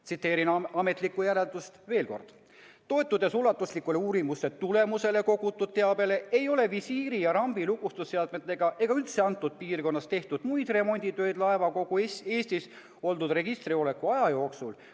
Tsiteerin ametlikku järeldust veel kord: "Toetudes ulatuslike uurimuste tulemusel kogutud teabele, ei ole visiiri ja rambi lukustusseadmetega ega üldse antud piirkonnas tehtud muid remonditöid laeva kogu registrisoleku aja jooksul.